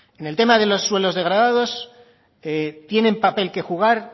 en el tema de los suelos degradados tienen papel que jugar